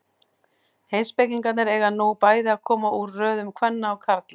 Heimspekingarnir eiga nú bæði að koma úr röðum kvenna og karla.